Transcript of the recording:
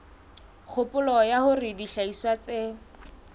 kgopolo ya hore dihlahiswa tse